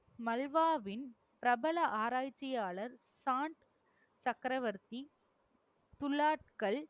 மல்வாவின் பிரபல ஆராய்ச்சியாளர் சக்கரவர்த்தி துலாட்கள்